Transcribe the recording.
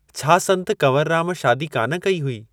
छाा संतु कंवरुराम शादी का न कई हुई?